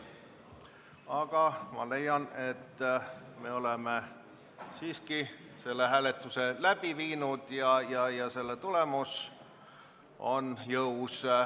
Aga ma leian, et me oleme siiski selle hääletuse läbi viinud ja selle tulemus on jõus.